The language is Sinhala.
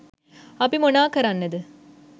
අපි මොනා කරන්නද